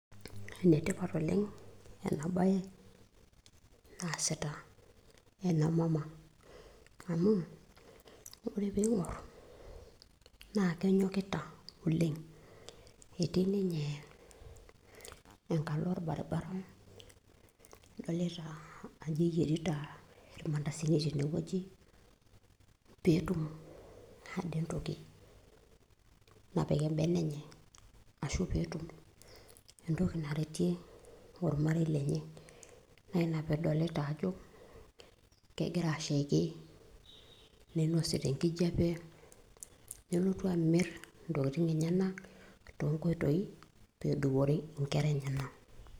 ene tipat oleng' ena baye naa sita ena mama amu ore pee ing'or naa kenyokita oleng' etii ninye engalo orbaribara eyerita ninye irbandasini teneweji pee etum atimira pee etum entoki napik ebene enye, ashu pee etum entoki naretie ormarei lenye.